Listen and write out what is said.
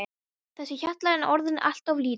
Þessi hjallur er orðinn allt of lítill.